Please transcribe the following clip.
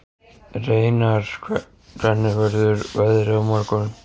Reynar, hvernig verður veðrið á morgun?